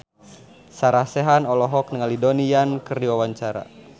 Sarah Sechan olohok ningali Donnie Yan keur diwawancara